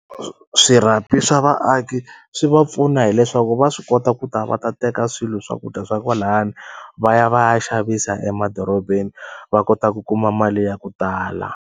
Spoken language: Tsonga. Swirhapi swa vaaki swi va pfuna hileswaku va swi kota ku ta va ta teka swilo swakudya swa kwalani va ya va ya xavisa emadorobeni va kota ku kuma mali ya ku tala.